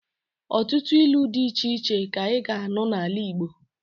Ọtụtụ ilu dị iche iche ka ị ga-anụ n'ala igbo